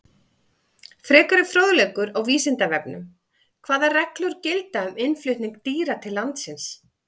Frekari fróðleikur á Vísindavefnum: Hvaða reglur gilda um innflutning dýra til landsins?